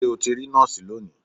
Ṣé o ti rí nọ́ọ̀sì lónìí?